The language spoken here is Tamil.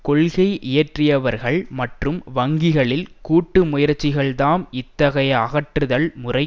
கொள்கை இயற்றுபவர்கள் மற்றும் வங்கிகளில் கூட்டு முயற்சிகள்தாம் இத்தகைய அகற்றுதல் முறை